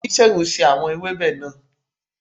Onisegun ṣe awọn ewebe naa